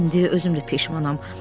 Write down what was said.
İndi özüm də peşmanam.